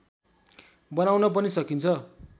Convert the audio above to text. बनाउन पनि सकिन्छ